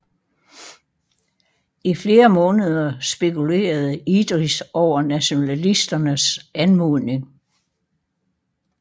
I flere måneder spekulerede Idris over nationalisternes anmodning